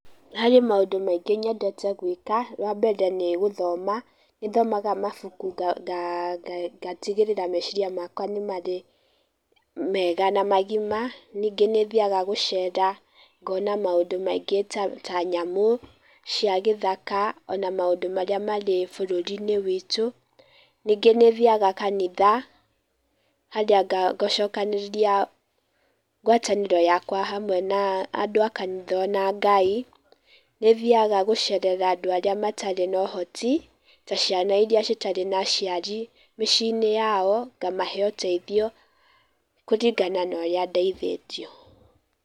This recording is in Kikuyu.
Harĩ maũndũ maingĩ nyendete gũĩka. Wambere nĩ gũthoma, nĩ thomaga mabuku ngatigĩrĩra meciria makwa nĩ marĩ mega na magima. Ningĩ nĩ thiaga gũcera, ngona maũndũ maingĩ ta nyamũ cia gĩthaka, ona maũndũ marĩa marĩ bũrũri-inĩ witu. Ningĩ nĩ thiaga kanitha, harĩa ngacokanĩrĩria ngwatanĩro yakwa hamwe na andũ a kanitha ona Ngai. Nĩ thiaga gũcerera andũ arĩa matarĩ na ũhoti, ta ciana iria citarĩ na aciari mĩciĩ-inĩ yao, ngamahe ũteithio kũringana na ũrĩa ndeithĩtio.